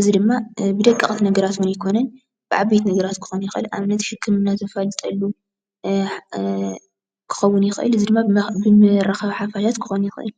እዚ ድማ ብደቀቅቲ ነገራት እዉን ኣይኮነን ብዓበይቲ ነገራት ሕክምና ዘፋልጠሉ ክኸውን ይኽእል። እዚ ድማ ብመራኸቢ ሓፋሻት ክኸውን ይኽልእ።